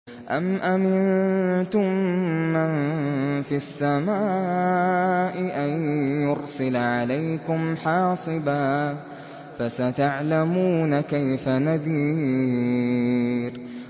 أَمْ أَمِنتُم مَّن فِي السَّمَاءِ أَن يُرْسِلَ عَلَيْكُمْ حَاصِبًا ۖ فَسَتَعْلَمُونَ كَيْفَ نَذِيرِ